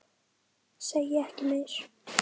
Segi ekki meir.